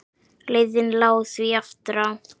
Leiðin lá því aftur á